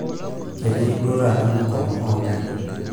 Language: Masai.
ketii duo taata mugomo oo ingarrin